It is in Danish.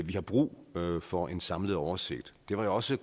vi har brug for en samlet oversigt det var jo også